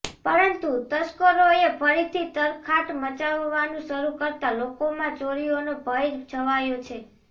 પરંતુ તસ્કરોએ ફરીથી તરખાટ મચાવવાનું શરૂ કરતાં લોકોમાં ચોરીઓનો ભય છવાયો છે